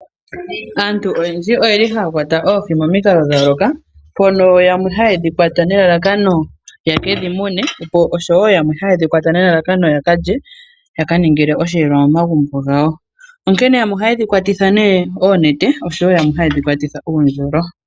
Aantu oyendji oye li ha ya kwata oohi momikalo dha yooloka, mpono yamwe ha ye dhi kwata nelalakano ye ke dhi mune osho woo yamwe ha ye dhi kwata nelalakano ya kalye, ya ka ningile osheelelwa momagumbo gawo. Onkene yamwe oha ye dhi kwatitha oonete oshowoo yamwe ha ye dhi kwatitha oondjolo.